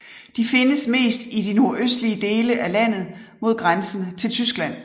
De findes mest i de nordøstlige dele af landet mod grænsen til Tyskland